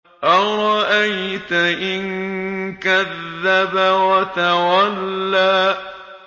أَرَأَيْتَ إِن كَذَّبَ وَتَوَلَّىٰ